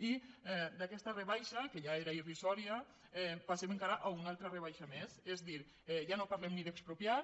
i d’aquesta rebaixa que ja era irrisòria passem encara a una altra rebaixa més és a dir ja no parlem ni d’expropiar